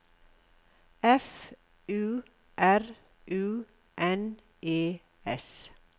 F U R U N E S